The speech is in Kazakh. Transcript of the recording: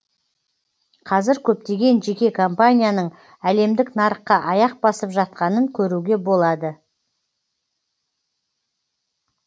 қазір көптеген жеке компанияның әлемдік нарыққа аяқ басып жатқанын көруге болады